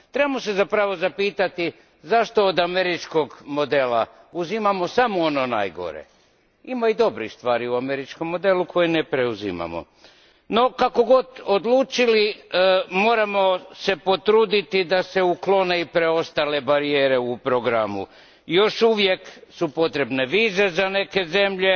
Trebamo se zapravo zapitati zašto od američkog modela uzimamo samo ono najgore, a u njemu ima i dobrih stvari koje ne preuzimamo. Kako god odlučili, moramo se potruditi da se uklone i preostale barijere u programu još uvijek su potrebne vize za neke zemlje